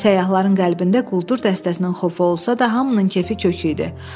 Səyyahların qəlbində quldur dəstəsinin xofu olsa da, hamının kefi kök idi.